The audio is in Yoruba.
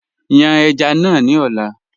Yàn èjá náà ni ọ̀lá